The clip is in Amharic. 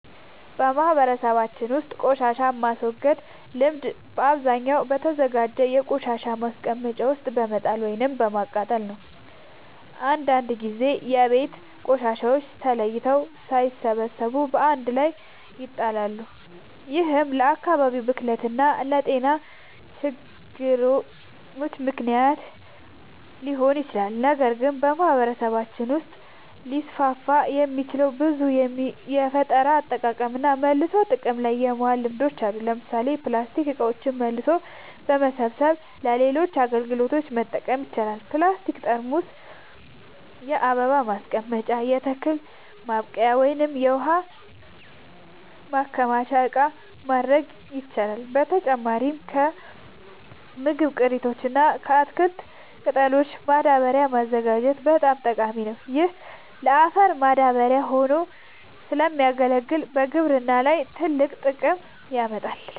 በማህበረሰባችን ውስጥ ቆሻሻን የማስወገድ ልምድ በአብዛኛው በተዘጋጀ የቆሻሻ ማስቀመጫ ውስጥ በመጣል ወይም በማቃጠል ነው። አንዳንድ ጊዜ የቤት ቆሻሻዎች ተለይተው ሳይሰበሰቡ በአንድ ላይ ይጣላሉ፤ ይህም ለአካባቢ ብክለት እና ለጤና ችግሮች ምክንያት ሊሆን ይችላል። ነገር ግን በማህበረሰባችን ውስጥ ሊስፋፉ የሚችሉ ብዙ የፈጠራ አጠቃቀምና መልሶ ጥቅም ላይ ማዋል ልምዶች አሉ። ለምሳሌ ፕላስቲክ እቃዎችን መልሶ በመሰብሰብ ለሌሎች አገልግሎቶች መጠቀም ይቻላል። የፕላስቲክ ጠርሙሶችን የአበባ ማስቀመጫ፣ የተክል ማብቀያ ወይም የውሃ ማከማቻ እቃ ማድረግ ይቻላል። በተጨማሪም ከምግብ ቅሪቶች እና ከተክል ቅጠሎች ማዳበሪያ ማዘጋጀት በጣም ጠቃሚ ነው። ይህ ለአፈር ማዳበሪያ ሆኖ ስለሚያገለግል በግብርና ላይ ትልቅ ጥቅም ያመጣል።